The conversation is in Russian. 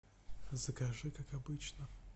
закажи как обычно